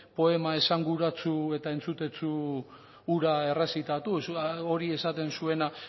poema esanguratsu eta entzutetsu hura errezitatu hori esaten zuena